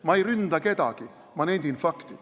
Ma ei ründa kedagi, ma nendin fakti.